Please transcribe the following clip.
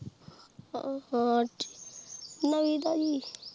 ਹਾ ਠੀਕ ਨਵੀਂ ਤਜਿ